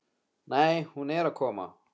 Nei, hún er að koma.